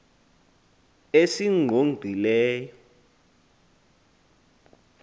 esingqongileyo